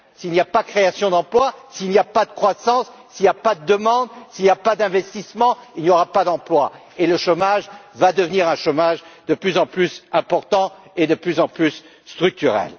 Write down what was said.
S'il n'y a pas création d'emplois, s'il n'y a pas de croissance, s'il n'y a pas de demande, s'il n'y a pas d'investissements, il n'y aura pas d'emplois, et le chômage va devenir un chômage de plus en plus important et de plus en plus structurel.